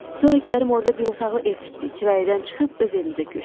Sonra Kərim orda bir otaqlı ev tikdi, kirayədən çıxıb öz evimizə köçdük.